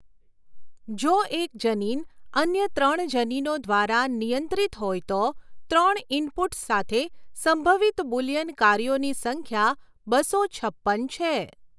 જો એક જનીન અન્ય ત્રણ જનીનો દ્વારા નિયંત્રિત હોય તો ત્રણ ઇનપુટ્સ સાથે સંભવિત બુલિયન કાર્યોની સંખ્યા બસો છપ્પન છે.